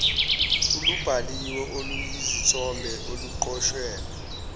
olubhaliwe oluyizithombe oluqoshelwe